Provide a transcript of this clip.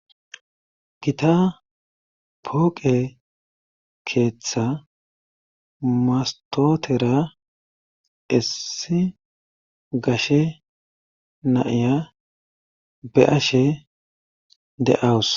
gita pooqe keeththa mastotera issi gashe naiya be ashe de7awus